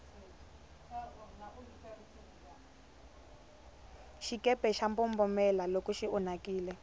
xikepe xa mbombomela loko xi onhakile